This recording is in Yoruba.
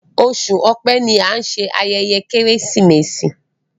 Oṣù Ọ̀pẹ́ ní an ṣe ayẹyẹ Keresimesi.